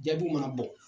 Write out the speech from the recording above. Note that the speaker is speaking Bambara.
Jaabiw mana bɔ